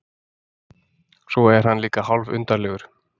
Svo er hann líka hálfundarlegur.